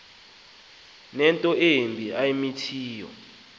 unento embi ayimithiyo